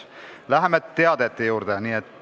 Läheme teadete juurde.